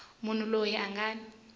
munhu loyi a nga ni